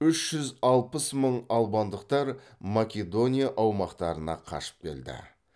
үш жүз алпыс мың албандықтар македония аумақтарына қашып келді